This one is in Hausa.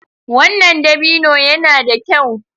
Wannan dabino yana da kyau.